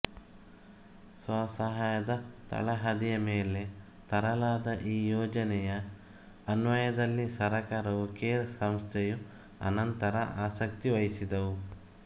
ಸ್ವಸಹಾಯದ ತಳಹದಿಯ ಮೇಲೆ ತರಲಾದ ಈ ಯೋಜನೆಯ ಅನ್ವಯದಲ್ಲಿ ಸರ್ಕಾರವೂ ಕೇರ್ ಸಂಸ್ಥೆಯೂ ಅನಂತರ ಆಸಕ್ತಿ ವಹಿಸಿದುವು